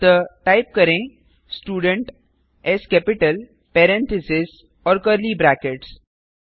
अतः टाइप करें student parenthesis और कर्ली ब्रैकेट्स